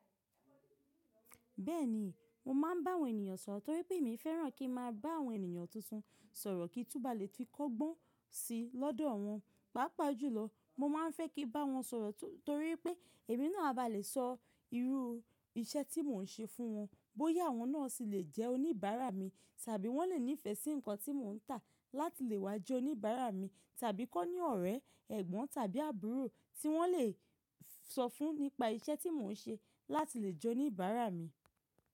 Bẹ́ẹ̀ni, mo máa ń bá àwọn ènìyàn sọ̀rọ̀ torí pé èmi fẹ́ràn kí ń máa bá àwọn ènìyàn tuntun sọ̀rọ̀ kí n túbà lè fi kọ́gbọ́n sí lọ́dọ̀ wọn. Pàápàá jùlọ, mo máa ń fẹ́ kí bá wọn sọ̀rọ̀ tu torí pé èmi náà a ba lè sọ irú iṣẹ́ tí mò ń ṣe fún wọn, bóyá àwọn náà sì le jẹ́ oníbàárà mi, tàbí wọ́n le ní ìfẹ́ sí nǹkan tí mò ń tà láti lè wá jẹ́ oníbàárà mi, tàbí kọ́o ní ọ̀rẹ́, ẹ̀gbọ́n tàbí àbúrò tí wọ́n lè sọ fún nípa iṣẹ́ tí mò ń ṣe láti lè jẹ́ oníbàárà mi.